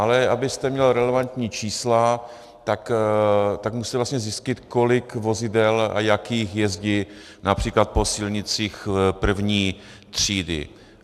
Ale abyste měl relevantní čísla, tak musíte vlastně zjistit, kolik vozidel a jakých jezdí například po silnicích první třídy.